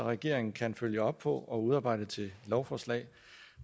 regeringen kan følge op på og udarbejde til lovforslag